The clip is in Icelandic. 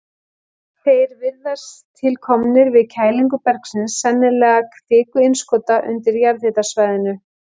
Þeir virðast til komnir við kælingu bergsins, sennilega kvikuinnskota, undir jarðhitasvæðinu.